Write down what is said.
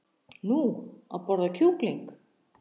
Nú, að borða kjúkling.